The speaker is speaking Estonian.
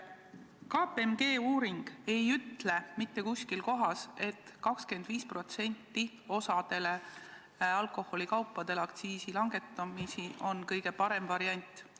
KPMG uuring ei ütle mitte kuskil, et kõige parem variant on langetada osa alkoholi aktsiisi 25%.